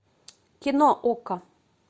кино окко